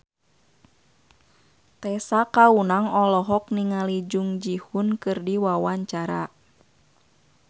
Tessa Kaunang olohok ningali Jung Ji Hoon keur diwawancara